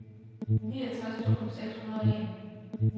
niogtres tusind seks hundrede og en